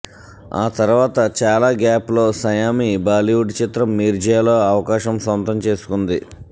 ఆ తర్వాత చాలా గ్యాప్ లో సయామీ బాలీవుడ్ చిత్రం మిర్జ్యాలో అవకాశం సొంతం చేసుకుంది